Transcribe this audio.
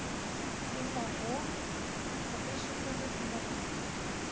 inn á von á byssukúlu í morgunmat.